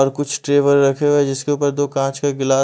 और कुछ टेबल रखे हुए जिसके ऊपर दो कांच का गिला--